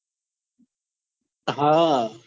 હા